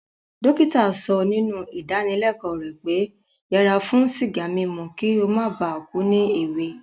Dókítà so nínú ìdáníleko rẹ̀ pé yẹra fún sìgá mímu ki o mó ba ku ni èwe